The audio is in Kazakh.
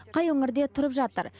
қай өңірде тұрып жатыр